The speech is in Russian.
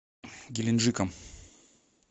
геленджиком